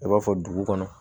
I b'a fɔ dugu kɔnɔ